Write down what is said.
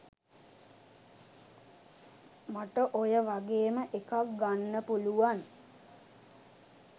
මට ඔය වගේම එකක් ගන්න පුලුවන්